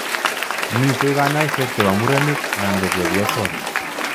Mitei kanyoiset che bo murenik anan ko chepyosok